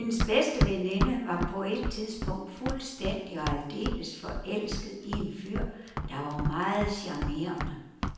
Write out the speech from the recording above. Hendes bedste veninde var på et tidspunkt fuldstændig og aldeles forelsket i en fyr, der var meget charmerende.